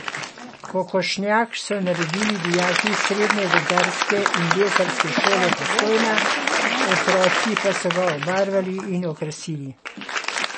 Kokošnjak so naredili dijaki Srednje gozdarske in lesarske šole Postojna, otroci pa so ga obarvali in okrasili.